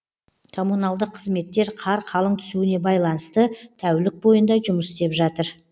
коммуналдық қызметтер қар қалың түсуіне байланысты тәулік бойында жұмыс істеп жатыр